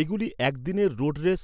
এগুলি একদিনের road race,